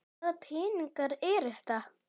Hvaða peningar eru þetta?